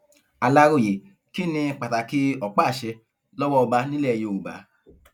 aláròye kí ni pàtàkì ọpáàṣẹ lọwọ ọba nílẹ yorùbá